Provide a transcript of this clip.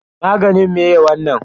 Maganin me wannan?